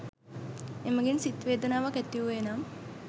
එමගින් සිත් වේදනාවක් ඇති වූයේ නම්